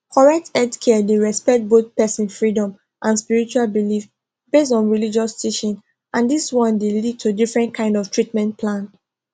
correct healthcare dey respect both person freedom and spiritual belief based on religious teaching and this one dey lead to different kind of treatment plan